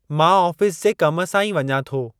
मां आफीस जे कम सां ई वञां थो।